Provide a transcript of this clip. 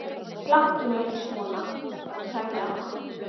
Láttu nú ekki svona. sagði amma.